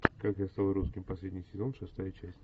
как я стал русским последний сезон шестая часть